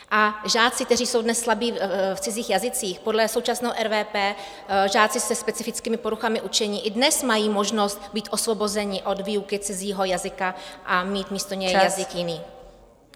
A žáci, kteří jsou dnes slabí v cizích jazycích, podle současného RVP, žáci se specifickými poruchami učení, i dnes mají možnost být osvobozeni od výuky cizího jazyka a mít místo něj jazyk jiný.